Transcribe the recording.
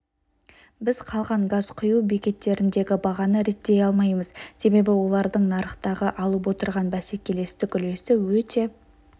біз қалған газ құю бекеттеріндегі бағаны реттей алмаймыз себебі олардың нарықтағы алып отырған бәсекелестік үлесі өте